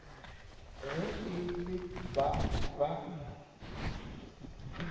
ge e le ba ba